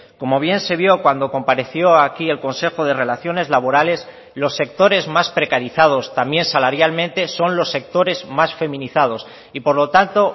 como bien se vio cuando compareció aquí el consejo de relaciones laborales los sectores más precarizados también salarialmente son los sectores más feminizados y por lo tanto